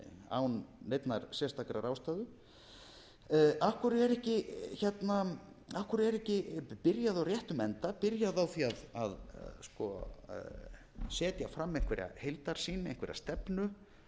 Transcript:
án neinnar sérstakrar ástæðu af hverju er ekki byrjað á réttum enda byrjað á því að setja fram einhverja heildarsýn einhverja stefnu